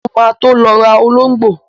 Mo ma tó lọ rà ológbò.